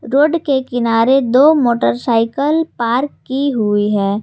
Road के किनारे दो मोटरसाइकिल पार्क की हुई है।